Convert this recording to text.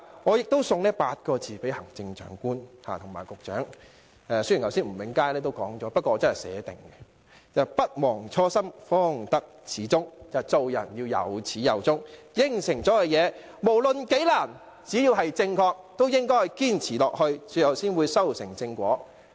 我亦想送8個字給行政長官及局長——雖然吳永嘉議員剛才已說了，但我已預先寫了——是"不忘初心，方得始終"，做人要有始有終，已作出的承諾，無論有多困難，只要正確，都應堅持下去，最後才會修成正果。